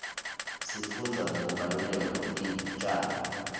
sifundza nekubaluleka kwetitjalo